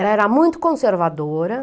Ela era muito conservadora.